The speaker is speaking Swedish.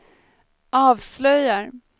avslöjar